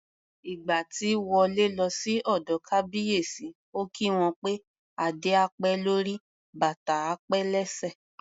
Ìgbà tí Wọlé lọ sí ọ̀dọ̀ Kábíyèsí, ó kí wọn pé "Adé á pẹ́ lórí, bàtà á pẹ́ lẹ́sẹ̀".